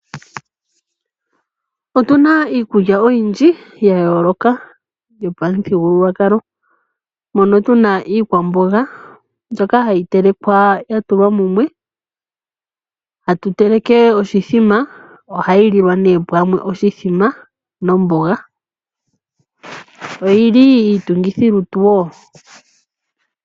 Otuna iikulya oyindji yayoloka yopamuthigululwakalo. Mono tuna iikwamboga mbyoka hayi telekwa ya tulwa mumwe. Tatu teleke oshimbombo. Ohayi lilwa nee pamwe, oshimbombo nomboga oyili iitungithi lutu wo.